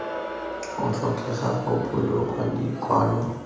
go tlhokegang go boloka dikwalo